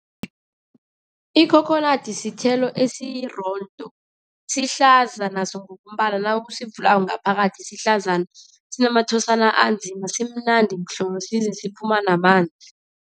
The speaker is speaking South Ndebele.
Ikhokhonadi sithelo esirondo, sihlaza naso ngokombala. Nawusivulako ngaphakathi sihlaza sinamathosana anzima. Simnandi mhlolo, size siphuma namanzi.